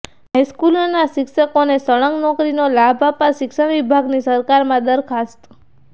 હાઇસ્કૂલોના શિક્ષકોને સળંગ નોકરીનો લાભ આપવા શિક્ષણ વિભાગની સરકારમાં દરખાસ્ત